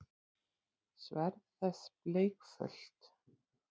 Sverð þess bleikfölt.